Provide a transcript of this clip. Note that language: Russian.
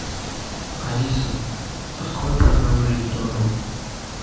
алиса открой программу жить здорово